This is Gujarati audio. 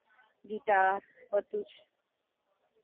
પછી violin, ગિટાર, બધુ જ.